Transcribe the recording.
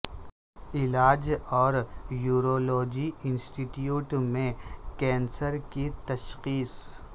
علاج اور urology institute میں کینسر کی تشخیص